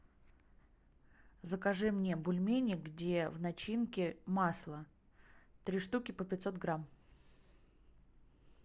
закажи мне бульмени где в начинке масло три штуки по пятьсот грамм